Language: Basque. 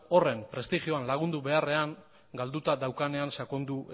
horren prestigioan lagundu beharrean galduta daukanean sakondu